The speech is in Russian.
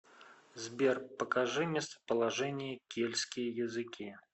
сбер покажи местоположение кельтские языки